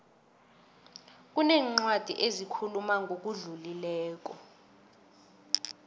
kunencwadi ezikhuluma ngokudlulileko